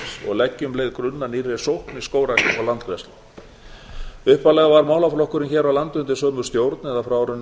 og leggi um leið grunn að nýrri sókn í skógrækt og landgræðslu upphaflega var málaflokkurinn hér á landi undir sömu stjórn eða frá árinu